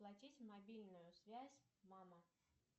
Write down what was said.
оплатить мобильную связь мама